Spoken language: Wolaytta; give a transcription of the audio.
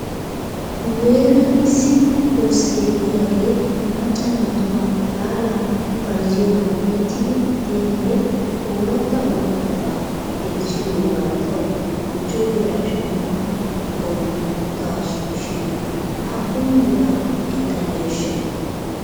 Nu heeran issi koskkee de'iyaagee macca naatubaa xalaala bayzziyoogan erettidi de'iyaagee ooratta oorattabata gelissidoogaa taw michcho diyaara shammana gawttaasu shin aappun bira ekkaneeshsha?